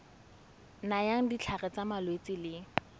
nayang ditlhare tsa malwetse le